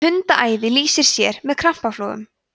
hundaæði lýsir sér með krampaflogum